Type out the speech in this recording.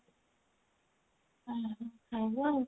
ଓଃ ହୋ ଖାଇବୁ ଆଉ